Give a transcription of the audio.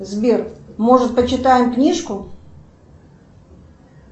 сбер может почитаем книжку